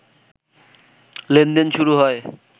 লেনদেন শুরু হয়